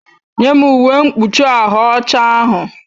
Nye m uwe mkpuchi ahụ ọcha ahụ!